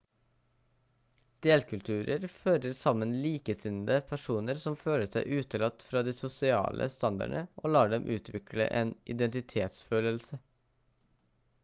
delkulturer fører sammen likesinnede personer som føler seg utelatt fra de sosiale standardene og lar dem utvikle en identitetsfølelse